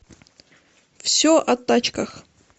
все о тачках